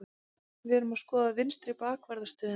Við erum að skoða vinstri bakvarðar stöðuna.